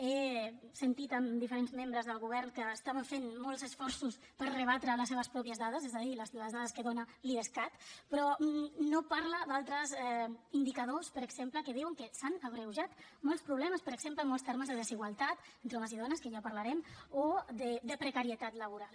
he sentit diferents membres del govern que estaven fent molts esforços per rebatre les seves pròpies dades és a dir les dades que dona l’idescat però no parlen d’altres indicadors per exemple que diuen que s’han agreujat molts problemes per exemple en molts termes de desigualtat entre homes i dones que ja en parlarem o de precarietat laboral